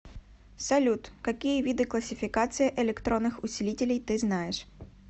салют какие виды классификация электронных усилителей ты знаешь